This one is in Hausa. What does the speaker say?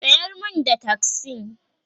tsayar min da taksi!